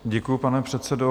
Děkuji, pane předsedo.